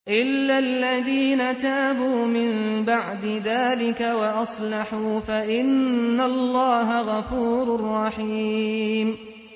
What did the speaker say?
إِلَّا الَّذِينَ تَابُوا مِن بَعْدِ ذَٰلِكَ وَأَصْلَحُوا فَإِنَّ اللَّهَ غَفُورٌ رَّحِيمٌ